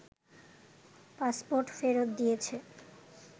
passport ফেরত দিয়েছে